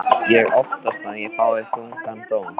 Ég óttast að ég fái þungan dóm.